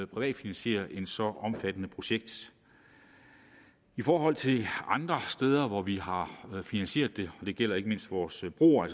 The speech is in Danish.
privatfinansiere et så omfattende projekt i forhold til andre steder hvor vi har finansieret det det gælder ikke mindst vores broer